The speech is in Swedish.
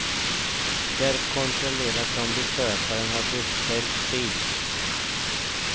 Där kontrolleras om besökaren har beställt tid.